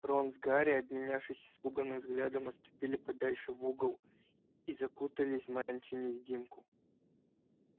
рон с гарри обменявшись испуганным взглядам отступили подальше в угол и закутались в мантию-невидимку